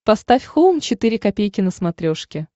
поставь хоум четыре ка на смотрешке